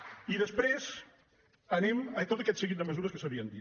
i després anem a tot aquest seguit de mesures que s’havien dit